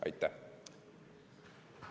Aitäh!